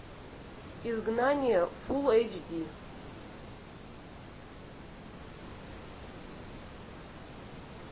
изгнание фул эйч ди